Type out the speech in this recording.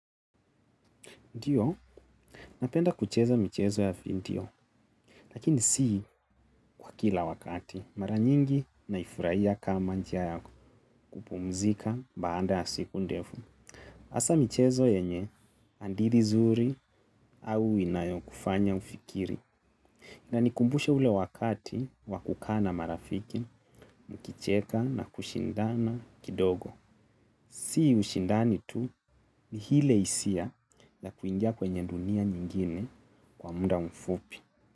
Ndiyo, napenda kucheza michezo ya video lakini si kwa kila wakati. Mara nyingi naifurahia kama njia ya kupumzika baada ya siku ndefu. Hasa michezo yenye hadithi zuri au inayo kufanya ufikiri. Na nikumbushe ule wakati wa kukaa na marafiki mkicheka na kushindana kidogo. Si ushindani tu ni ile hisia ya kuingia kwenye dunia nyingine kwa muda mfupi.